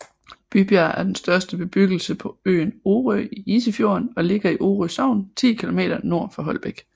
Bybjerg er den største bebyggelse på øen Orø i Isefjorden og ligger i Orø Sogn 10 kilometer nord for Holbæk